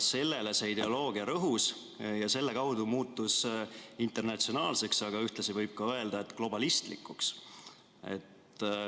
Sellele see ideoloogia rõhus ja selle kaudu muutus internatsionaalseks, aga ühtlasi võib öelda, et globalistlikuks.